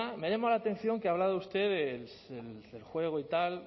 me ha llamado la atención que ha hablado usted del juego y tal